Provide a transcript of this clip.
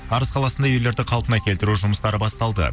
арыс қаласында үйлерді қалпына келтіру жұмыстары басталды